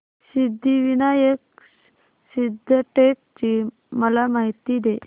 सिद्धिविनायक सिद्धटेक ची मला माहिती दे